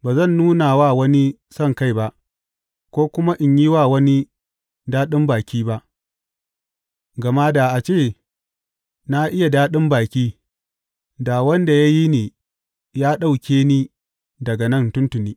Ba zan nuna wa wani sonkai ba, ko kuma in yi wa wani daɗin baki ba; gama da a ce na iya daɗin baki, da wanda ya yi ni ya ɗauke ni daga nan tuntuni.